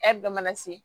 dɔ mana se